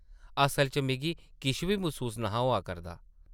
असला च मिगी किश बी मसूस न’हा होआ करदा ।